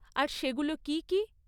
আর সেগুলো কী কী?